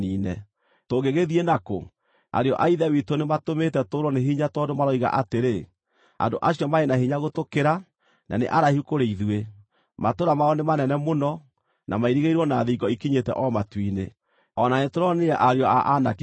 Tũngĩgĩthiĩ na kũ? Ariũ a ithe witũ nĩmatũmĩte tũũrwo nĩ hinya tondũ maroiga atĩrĩ, ‘Andũ acio marĩ na hinya gũtũkĩra, na nĩ araihu kũrĩ ithuĩ; matũũra mao nĩ manene mũno, na mairigĩirwo na thingo ikinyĩte o matu-inĩ. O na nĩtũronire ariũ a Anaki kuo.’ ”